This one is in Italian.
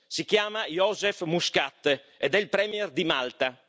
si chiama Joseph Muscat ed è il premier di Malta.